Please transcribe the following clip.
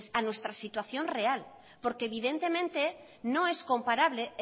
a nuestra situación real porque evidentemente no es comparable